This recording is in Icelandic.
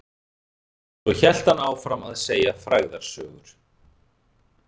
Svo hélt hann áfram að segja frægðarsögur.